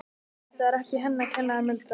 Þetta var ekki henni að kenna, muldraði hann.